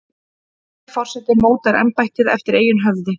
Hver forseti mótar embættið eftir eigin höfði.